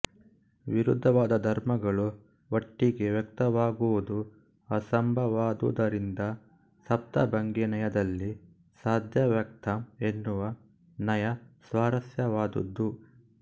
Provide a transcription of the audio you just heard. ವಿರುದ್ಧವಾದ ಧರ್ಮಗಳು ಒಟ್ಟಿಗೆ ವ್ಯಕ್ತವಾಗುವುದು ಅಸಂಭವವಾದುದರಿಂದ ಸಪ್ತಭಂಗೀನಯದಲ್ಲಿ ಸ್ಯಾದವ್ಯಕ್ತಂ ಎನ್ನುವ ನಯ ಸ್ವಾರಸ್ಯವಾದುದು